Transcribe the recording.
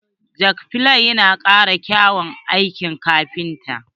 Jakplini yana kara kyaun aikin kafintoci.